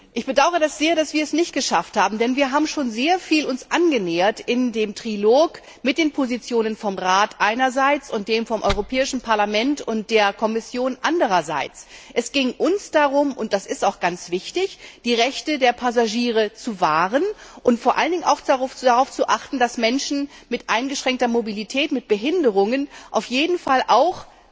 Ich bedauere es sehr, dass wir es nicht geschafft haben, denn wir haben uns im Trilog mit den Positionen vom Rat einerseits und denen vom Europäischen Parlament und der Kommission anderseits schon sehr angenähert. Es ging uns darum und das ist auch ganz wichtig die Rechte der Passagiere zu wahren und vor allen Dingen auch darauf zu achten, dass Menschen mit eingeschränkter Mobilität, mit Behinderungen auf jeden Fall auch